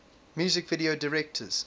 music video directors